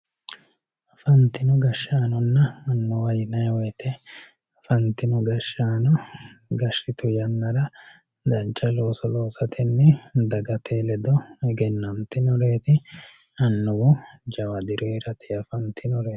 afantino gashshaanonna annuwa yinanni wote afantino gahsshaano gashshitu yannara dancha looso loosatenni dagate ledo egenantinoreeti annuwu jawa diro heeratenni afantinoreeti.